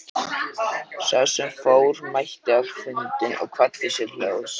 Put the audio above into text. Sá sem fór mætti á fundinn og kvaddi sér hljóðs.